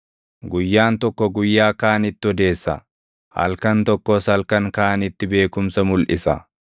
Guyyaan tokko guyyaa kaanitti odeessa, halkan tokkos halkan kaanitti beekumsa mulʼisa.